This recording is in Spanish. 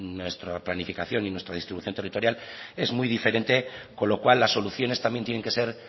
nuestra planificación y nuestra distribución territorial es muy diferente con lo cual las soluciones también tienen que ser